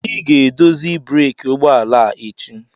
Ị ga-edozi breeki ụgbọ ala a echi.